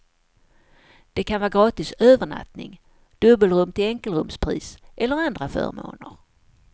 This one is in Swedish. Det kan vara gratis övernattning, dubbelrum till enkelrumspris eller andra förmåner.